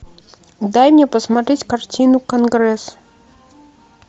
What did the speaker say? дай мне посмотреть картину конгресс